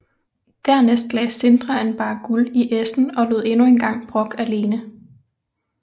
Dernæst lagde Sindre en barre guld i essen og lod endnu engang Brokk alene